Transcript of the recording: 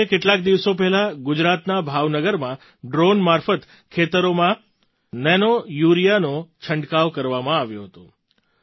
જેમ કે કેટલાક દિવસો પહેલાં ગુજરાતના ભાવનગરમાં ડ્રૉન મારફત ખેતરોમાં નૈનો યૂરિયાનો છંટકાવ કરવામાં આવ્યો હતો